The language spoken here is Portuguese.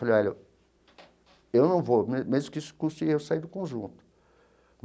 Falei, olha, eu não vou, mesmo que isso custe eu sair do conjunto.